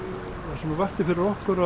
það sem vakti fyrir okkur